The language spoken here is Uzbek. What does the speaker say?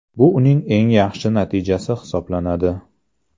Bu uning eng yaxshi natijasi hisoblanadi.